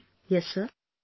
Bhavana ji...